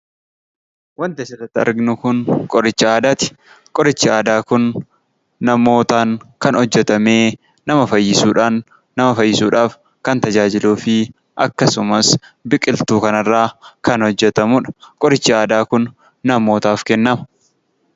Suuraan as irratti argamu Kun qoricha aadaati. Kunis namootaan kan hojjetamee fi nama fayyisuuf kan oolu dha.